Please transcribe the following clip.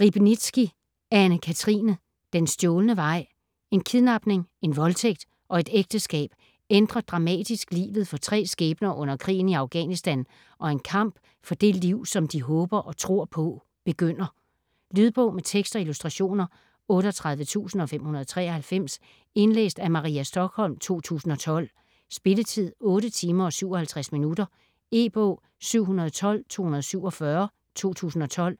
Riebnitzsky, Anne-Cathrine: Den stjålne vej En kidnapning, en voldtægt og et ægteskab ændrer dramatisk livet for tre skæbner under krigen i Afghanistan, og en kamp for det liv, som de håber og tror på begynder. Lydbog med tekst og illustrationer 38593 Indlæst af Maria Stokholm, 2012. Spilletid: 8 timer, 57 minutter. E-bog 712247 2012.